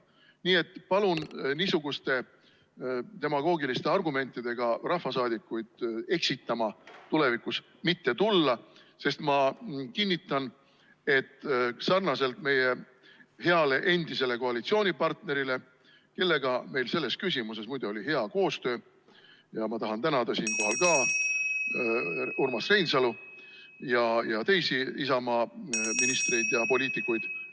Nii et palun niisuguste demagoogiliste argumentidega rahvasaadikuid eksitama tulevikus enam mitte tulla, sest ma kinnitan, et sarnaselt meie heale endisele koalitsioonipartnerile, kellega meil selles küsimuses oli hea koostöö – ma tahangi tänada siinkohal ka Urmas Reinsalu ja teisi Isamaa ministreid ja poliitikuid ...